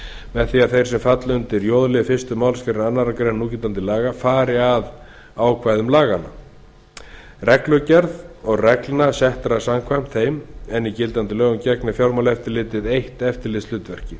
með því að þeir sem falla undir j lið fyrstu málsgrein annarrar greinar núgildandi laga fari að ákvæðum laganna reglugerða og reglna settra samkvæmt þeim en í gildandi lögum gegnir fjármálaeftirlitið eitt eftirlitshlutverki